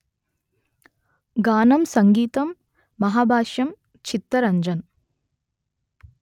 గానం సంగీతం మహాభాష్యం చిత్తరంజన్